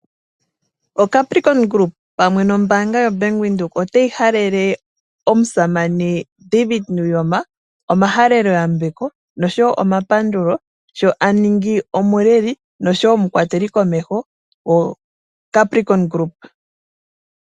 O Capricorn Group pamwe nombaanga ya Bank Windhoek . Otayi halele omusamane David Nuuyoma omahalelo yambeko nosho woo omapandulo. Sho aningi omuleli nosho woo omukwateli komeho go Capricorn Group.